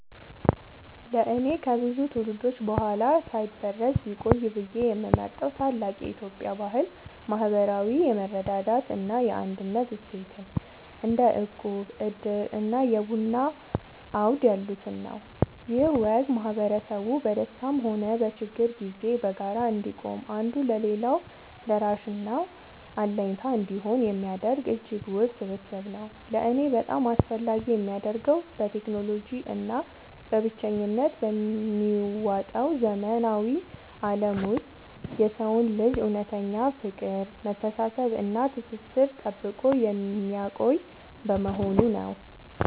ለእኔ ከብዙ ትውልዶች በኋላ ሳይበረዝ ቢቆይ ብዬ የምመርጠው ታላቅ የኢትዮጵያ ባህል **ማህበራዊ የመረዳዳት እና የአንድነት እሴትን** (እንደ እቁብ፣ ዕድር እና የቡና አውድ ያሉትን) ነው። ይህ ወግ ማህበረሰቡ በደስታም ሆነ በችግር ጊዜ በጋራ እንዲቆም፣ አንዱ ለሌላው ደራሽና አለኝታ እንዲሆን የሚያደርግ እጅግ ውብ ስብስብ ነው። ለእኔ በጣም አስፈላጊ የሚያደርገው፣ በቴክኖሎጂ እና በብቸኝነት በሚዋጠው ዘመናዊ ዓለም ውስጥ የሰውን ልጅ እውነተኛ ፍቅር፣ መተሳሰብ እና ትስስር ጠብቆ የሚያቆይ በመሆኑ ነው።